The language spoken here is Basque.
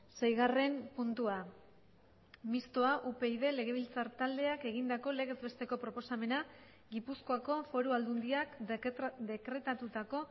seigarren puntua mistoa upyd legebiltzar taldeak egindako legez besteko proposamena gipuzkoako foru aldundiak dekretatutako